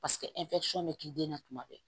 Paseke bɛ k'i den na tuma bɛɛ